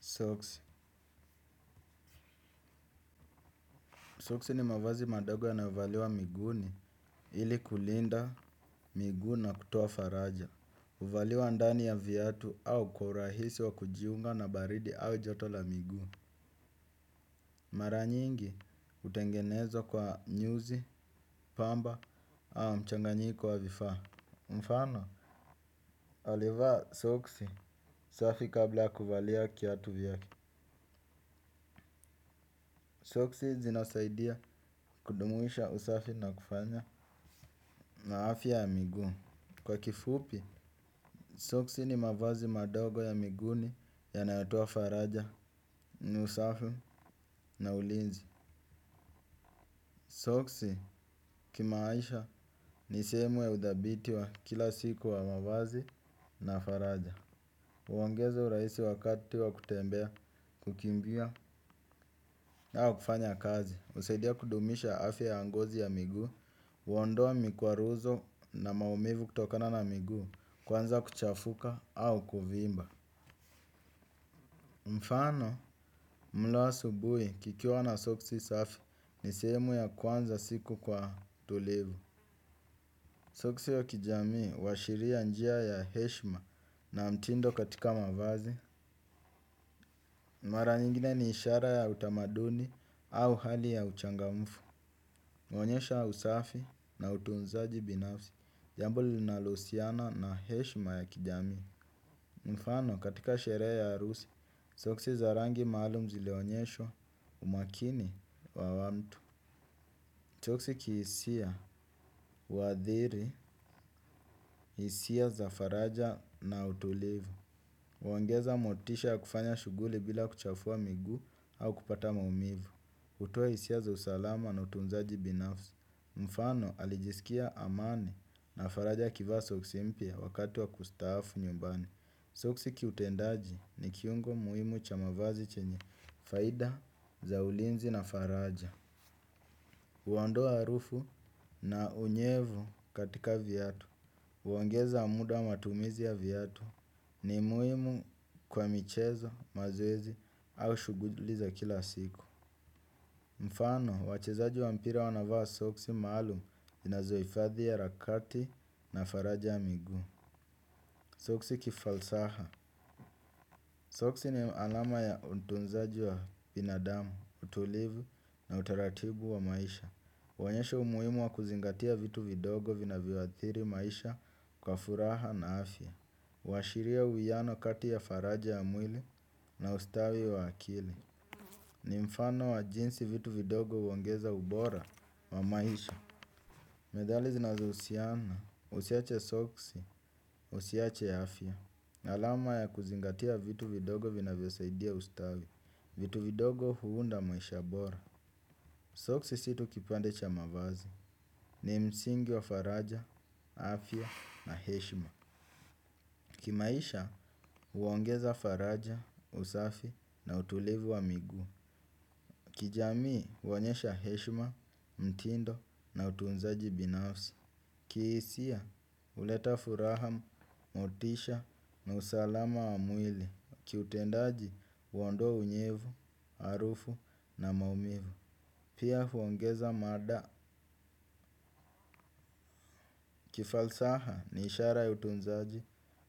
Soksi. Soksi ni mavazi madogo yanayo valiwa miguuni ili kulinda miguu na kutoa faraja. Huvaliwa ndani ya viatu au kwa urahisi wa kujiunga na baridi au joto la migu. Mara nyingi hutengenezwa kwa nyuzi, pamba au mchanganyiko wa vifaa. Mfano, alivaa soksi safi kabla kuvalia kiatu vyake. Soksi zinasaidia kudumisha usafi na kufanya na afya ya miguu. Kwa kifupi, soksi ni mavazi madogo ya miguuni yanayatoa faraja. Ni usafi na ulinzi. Soksi kimaisha ni sehemu ya udhabiti wa kila siku wa mavazi na faraja. Huongeza urahisi wakati wa kutembea, kukimbia au kufanya kazi. Husaidia kudumisha afya ya ngozi ya miguu, huondoa mikwaruzo na maumivu kutokana na miguu, kwanza kuchafuka au kuvimba. Mfano, mle asubuhi kikiwa na soksi safi ni sehemu ya kuanza siku kwa utulivu. Soksi ya kijamii huashiria njia ya heshima na mtindo katika mavazi. Mara nyingine ni ishara ya utamaduni au hali ya uchangamfu. Huonyesha ya usafi na utunzaji binafsi, jambo linalo husiana na heshima ya kijamii. Mfano katika sherehe ya harusi, soksi za rangi maalumu zilionyesha umakini wa watu. Soksi kihisia, huadhiri, hisia za faraja na utulivu. Huongeza motisha ya kufanya shughuli bila kuchafua miguu au kupata maumivu. Hutoa hisia za usalama na utunzaji binafsi. Mfano alijisikia amani na faraja akivaa soksi mpya wakati wa kustaafu nyumbani. Soksi kiutendaji ni kiungo muhimu cha mavazi chenye faida za ulinzi na faraja. Huondoa harufu na unyevu katika viatu. Huongeza muda wa matumizi ya viatu, ni muhimu kwa michezo mazoezi au shughuli za kila siku. Mfano, wachezaji wa mpira wanavaa soksi maalum zinazo hifadhi harakati na faraja ya miguu. Soksi kifalsaha, soksi ni alama ya utunzaji wa binadamu, utulivu na utaratibu wa maisha huonesha umuhimu wa kuzingatia vitu vidogo vinavyo athiri maisha kwa furaha na afya huashiria uwiano kati ya faraja ya mwili na ustawi wa akili. Ni mfano wa jinsi vitu vidogo huongeza ubora wa maisha. Methali zinazo husiana, usiache soksi, usiache afya. Alama ya kuzingatia vitu vidogo vinavyo saidia ustawi. Vitu vidogo huunda maisha bora. Soksi sio tu kipande cha mavazi. Ni msingi wa faraja, afya na heshima. Kimaisha huongeza faraja, usafi na utulivu wa miguu. Kijamii huonyesha heshima, mtindo na utunzaji binafsi. Kihisia huleta furaha, motisha na usalama wa mwili. Kiutendaji huondoa unyevu, harufu na maumivu. Pia huongeza mada kifalsaha ni ishara ya utunzaji,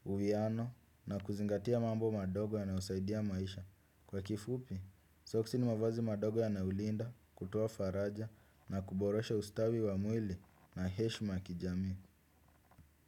uwiano na kuzingatia mambo madogo yanayo saidia maisha. Kwa kifupi, soksi ni mavazi madogo yanayo linda kutoa faraja na kuborosha ustawi wa mwili na heshima ya kijamii.